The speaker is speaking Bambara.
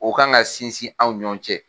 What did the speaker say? O kan ka sinsin anw ni ɲɔgɔn cɛ